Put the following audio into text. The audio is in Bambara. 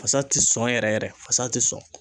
Fasa tɛ sɔn yɛrɛ yɛrɛ, fasa tɛ sɔn.